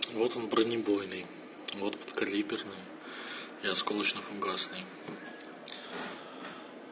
вот вы бронебойный вот подкалиберный и осколочно-фугасный